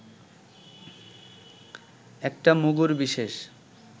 একটা মুগুরবিশেষ